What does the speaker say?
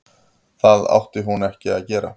Það átti hún ekki að gera.